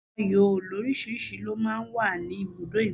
Ayò lórísìíríìsí máa ń wà ní ibùdó ìgbafẹ́.